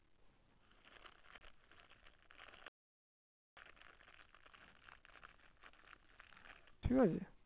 ঠিকাছে